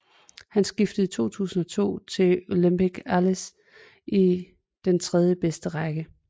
Han skiftede i 2002 til Olympique Alès i den tredjebedste række